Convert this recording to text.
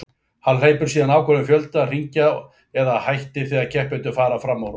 Hann hleypur síðan ákveðinn fjölda hringja eða hættir þegar keppendur fara fram úr honum.